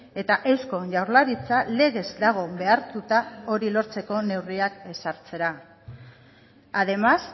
eta eusko jaurlaritza legez dago behartuta hori lortzeko neurriak ezartzera además